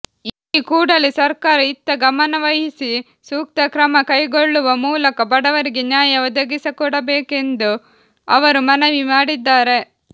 ಈ ಕೂಡಲೇ ಸರ್ಕಾರ ಇತ್ತ ಗಮನವಹಿಸಿ ಸೂಕ್ತ ಕ್ರಮ ಕೈಗೊಳ್ಳುವ ಮೂಲಕ ಬಡವರಿಗೆ ನ್ಯಾಯ ಒದಗಿಸಿಕೊಡಬೇಕೆಂದು ಅವರು ಮನವಿ ಮಾಡಿದ್ದಾರೆ